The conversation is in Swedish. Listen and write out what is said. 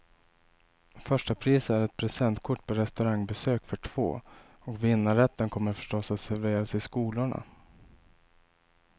Första pris är ett presentkort på restaurangbesök för två, och vinnarrätten kommer förstås att serveras i skolorna.